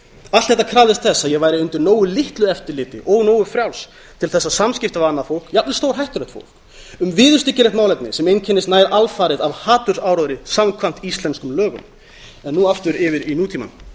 allt þetta krafðist þess að ég væri undir nógu litlu eftirliti og nógu frjáls til þess að samskipti við annað fólk jafnvel stórhættulegt fólk um viðurstyggilegt málefni sem einkennist nær alfarið af hatursáróðri samkvæmt íslenskum lögum en nú aftur yfir í nútímann